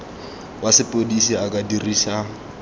wa sepodisi a ka dirisa